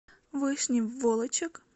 вышний волочек